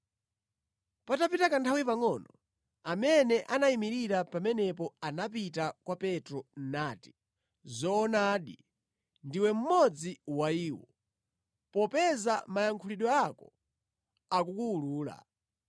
Patapita kanthawi pangʼono, amene anayimirira pamenepo anapita kwa Petro nati, “Zoonadi, ndiwe mmodzi wa iwo, popeza mayankhulidwe ako akukuwulula.”